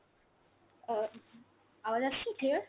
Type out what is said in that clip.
অ্যাঁ আওয়াজ আসছে clear?